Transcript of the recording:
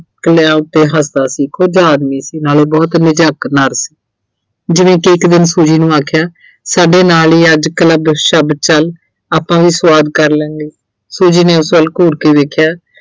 ਚੁਟਕਲਿਆਂ ਤੇ ਹੱਸਦਾ ਸੀ। ਆਦਮੀ ਸੀ ਨਾਲੇ ਬਹੁਤ ਸੀ। ਜਿਵੇਂ ਕਿ ਇੱਕ ਦਿਨ Suji ਨੂੰ ਆਖਿਆ ਸਾਡੇ ਨਾਲ ਹੀ ਅੱਜ club ਸ਼ੱਬ ਚੱਲ, ਆਪਾਂ ਵੀ ਸਵਾਦ ਕਰ ਲੈਂਦੇ ਆਂ, Suji ਨੇ ਉਸ ਵੱਲ ਘੂਰ ਕੇ ਵੇਖਿਆ